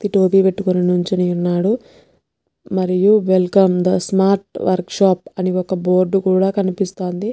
వ్యక్తి టోపీ పెట్టుకొని నుంచొనియునాడు మరియు welcome the smart workshop అని ఒక్క బోర్డ్ కూడా కనిపిస్తోంది.